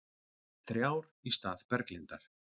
Þrjár í stað Berglindar